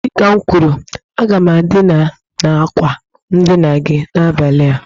Dị ka m kwuru, aga m edina na àkwà ndina gi n'abalị a